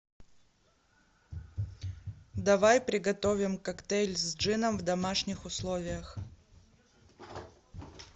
давай приготовим коктейль с джином в домашних условиях